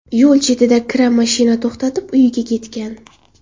Yo‘l chetida kira mashina to‘xtatib, uyiga ketgan.